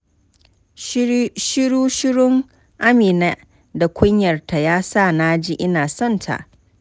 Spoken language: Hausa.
Shiru-shirun Amina da kunyarta, ya sa na ji ina sonta.